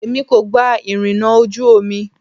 Èmi kò gba ìrìnà ojú omi.